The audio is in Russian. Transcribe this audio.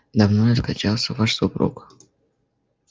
давно ли скончался ваш супруг